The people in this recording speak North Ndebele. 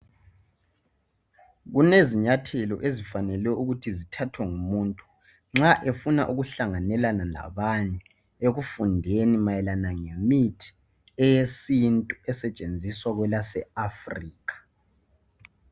Kulezinyathelo ezifanele ukuthi zithathwe ngumuntu nxa efuna ukuhlanganelana labanye ekufundeni mayelana ngemithi yesintu esetshenziswa kwelaseAfrica.